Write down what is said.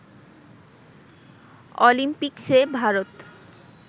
অলিম্পিকসে Bharat